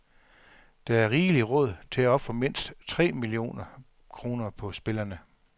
Der er rigeligt råd til at ofre mindst tre millioner kroner på spillerne.